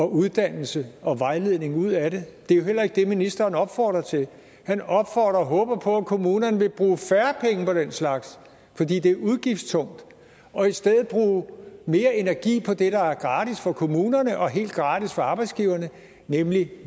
uddannelse og vejledning ud af det det er jo heller ikke det ministeren opfordrer til han opfordrer til og håber på at kommunerne vil bruge færre penge på den slags fordi det er udgiftstungt og i stedet bruge mere energi på det der er gratis for kommunerne og helt gratis for arbejdsgiverne nemlig